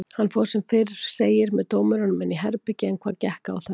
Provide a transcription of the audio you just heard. Hann fór sem fyrr segir með dómurunum inn í herbergi en hvað gekk á þar?